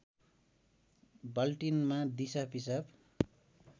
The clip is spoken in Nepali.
बाल्टिनमा दिसा पिसाब